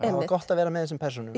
gott að vera með þessum persónum